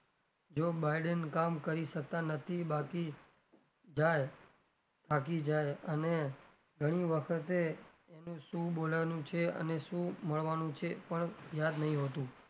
જો biden કામ કરી શકતા નથી બાકી જાય થાકી જાય અને ઘણી વખતે એનું શું બોલવાનું છે અને શું મળવાનું છે એ પણ યાદ નથી હોતું.